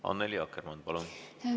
Annely Akkermann, palun!